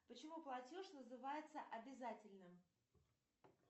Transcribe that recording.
почему платеж называется обязательным